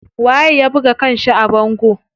Waye ya buga kanshi a bango?